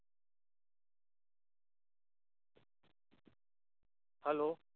hello